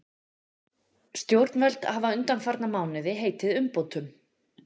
Stjórnvöld hafa undanfarna mánuði heitið umbótum